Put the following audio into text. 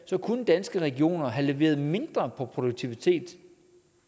kunne danske regioner have leveret mindre produktivitet